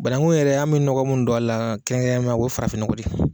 Banakun yɛrɛ an bɛ ɲɔgɔn min don a la kɛrɛnkɛrɛma o ye farafin nɔgɔ de.